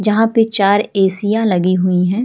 जहाँ पे चार एसियाँ लगी हुई हैं।